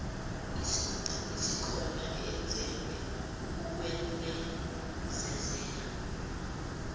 isikhona eyenzelwe ukwenezezela